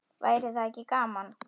Væri það ekki gaman?